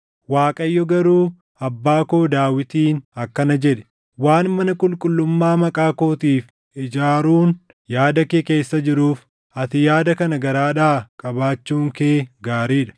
Waaqayyo garuu abbaa koo Daawitiin akkana jedhe; ‘Waan mana qulqullummaa Maqaa kootiif ijaaruun yaada kee keessa jiruuf, ati yaada kana garaadhaa qabaachuun kee gaarii dha.